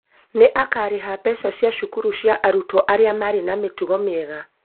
Nĩ akaarĩha mbeca cia cukuru cia arutwo arĩa marĩ na mĩtugo mĩega.